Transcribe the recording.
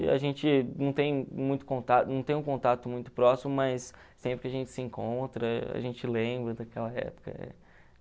A gente não tem muito contato não tem um contato muito próximo, mas sempre que a gente se encontra, a gente lembra daquela época.